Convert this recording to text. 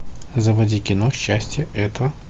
заводи кино счастье это